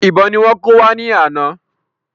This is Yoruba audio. Ìbọn ni wọ́n kó wá ní ana